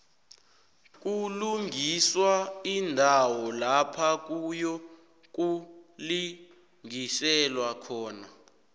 kulungiswa iindawo lapha kuyokulingiselwa khona